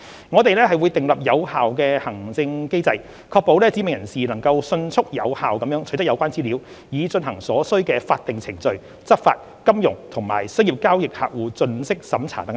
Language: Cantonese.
我們會訂立有效的行政機制，確保"指明人士"能迅速有效取得有關資料，以進行所需的法定程序、執法、金融及商業交易客戶盡職審查等工作。